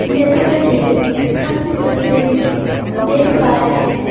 जैसा कि हम इस तस्वीर में देख पा रहे हैं।